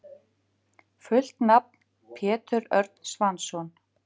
Fullt nafn: Pétur Örn Svansson.